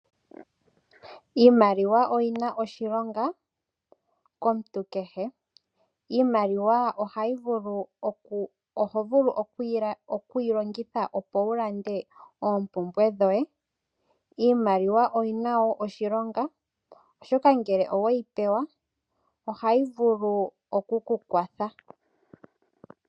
Iimaliwa oyi na oshilonga komuntu kehe, iimaliwa oho vulu okuyi longitha opo wu lande oompumbwe dhoye. Iimaliwa oyi na wo oshilonga oshoka ngele oweyi pewa ohayi vulu okuku kwatha. .